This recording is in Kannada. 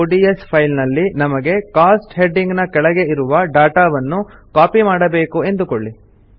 ಒಡಿಎಸ್ ಫೈಲ್ ನಲ್ಲಿ ನಮಗೆ ಕೋಸ್ಟ್ ಹೆಡಿಂಗ್ ನ ಕೆಳಗೆ ಇರುವ ಡಾಟಾ ವನ್ನು ಕಾಪಿ ಮಾಡಬೇಕು ಎಂದುಕೊಳ್ಳಿ